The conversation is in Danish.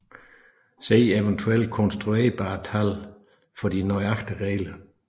Se eventuelt konstruerbare tal for de nøjagtige regler